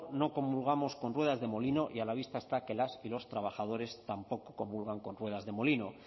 no comulgamos con ruedas de molino y a la vista está que las y los trabajadores tampoco comulgan con ruedas de molino